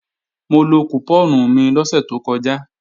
Mo lo kùpọ́ọ̀nù mi lọ́sẹ̀ tó kọjá